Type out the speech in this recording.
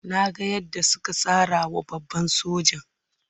Na ga yadda suka sara wa babban sojan.